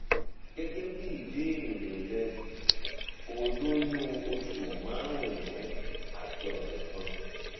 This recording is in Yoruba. gẹgẹ bí ìbéèrè rẹ o lóyún oṣù márùnún àti ọsẹ kan